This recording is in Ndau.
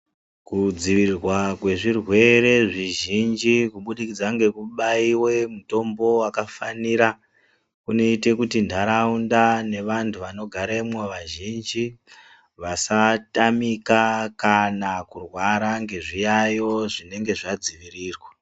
Kudzivirirwa kwezvirwere zvizhinji kubudikidza ngekubaiwe mutombo wakafanira kunoite kuti ntaraunda nevantu vanogaremwo vazhinji vasatamika kana kurwara ngezviyaiyo zvinenge zvadzivirirwa.